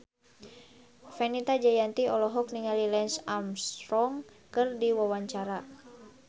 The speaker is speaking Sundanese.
Fenita Jayanti olohok ningali Lance Armstrong keur diwawancara